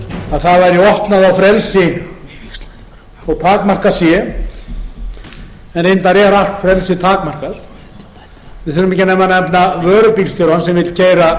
það væri opnað á frelsi þó takmarkað sé en reyndar er allt frelsi takmarkað við þurfum ekki nema nefna vörubílstjórann sem vill keyra